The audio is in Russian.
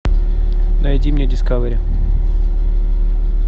найди мне дискавери